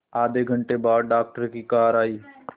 आधे घंटे बाद डॉक्टर की कार आई